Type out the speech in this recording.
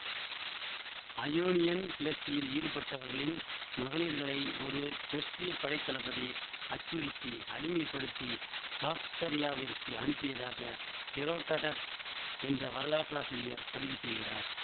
Ionian கிளர்ச்சியில் ஈடுபட்டவர்களின் மகளிர்களை ஒரு பெர்சியப் படைத்தளபதி அச்சுறுத்தி அடிமைப்படுத்தி பாக்தரியாவிற்கு அனுப்பியதாக ஹெரோடடஸ் என்ற வரலாற்றாசிரியர் பதிவு செய்கிறார்